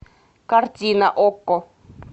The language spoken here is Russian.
картина окко